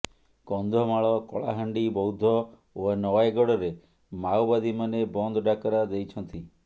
କନ୍ଧମାଳ କଳାହାଣ୍ଡି ବୌଦ୍ଧ ଓ ନୟାଗଡ଼ରେ ମାଓବାଦୀମାନେ ବନ୍ଦ ଡାକରା ଦେଇଛନ୍ତି